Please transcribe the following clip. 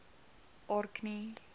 orkney